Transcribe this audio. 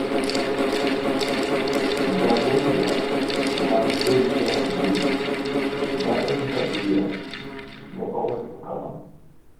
Ja Beira ma Julia Luis, ma en ja Beira, ne owacho kama: